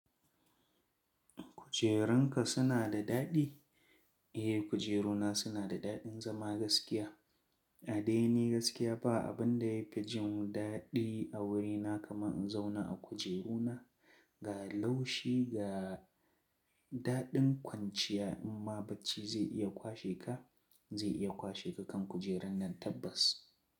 Kujerunka suna da daɗi? Eh, kujeru na suna da daɗin zama gaskiya. A daini gaskiya ba abin da ya fi jin daɗi a wurina kamar in zauna a kujeru na. Ga laushi ga daɗin kwanciya, in ma bacci zai iya kwashe ka, zai iya kwashe ka kan kujerun nan tabbas.